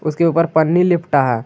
उसके ऊपर पन्नी लिपटा है।